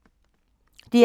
DR K